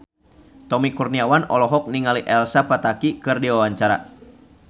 Tommy Kurniawan olohok ningali Elsa Pataky keur diwawancara